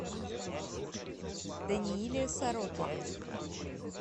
данииле сорокине